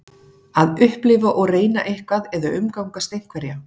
Að upplifa og reyna eitthvað eða umgangast einhverja.